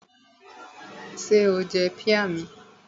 Ṣé o jẹ píà mi?